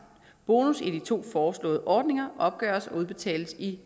bonus i de to foreslåede ordninger opgøres og udbetales i